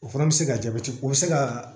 O fana bɛ se ka jabɛti o bɛ se ka